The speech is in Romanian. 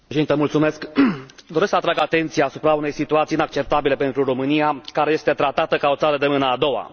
Doamnă Președintă, doresc să atrag atenția asupra unei situații inacceptabile pentru România, care este tratată ca o țară de mâna a doua.